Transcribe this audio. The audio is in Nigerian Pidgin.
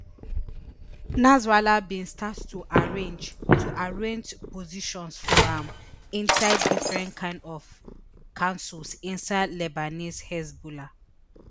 nasrallah bin start to arrange to arrange positions for am inside different kain of councils inside lebanese hezbollah